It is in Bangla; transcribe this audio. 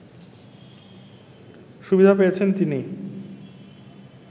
সুবিধা পেয়েছেন তিনি